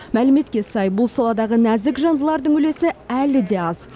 мәліметке сай бұл саладағы нәзік жандылардың үлесі әлі де аз